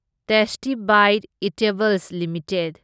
tasty bite eatables limited